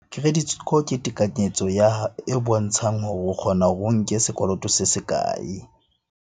Credit score ke tekanyetso ya, e bontshang hore o kgona hore o nke sekoloto se se kae?